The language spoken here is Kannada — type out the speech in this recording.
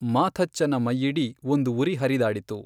ಮಾಥಚ್ಚನ ಮೈಯಿಡೀ ಒಂದು ಉರಿ ಹರಿದಾಡಿತು.